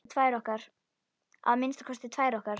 Að minnsta kosti tvær okkar.